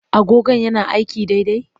Agogon yana aiki daidai?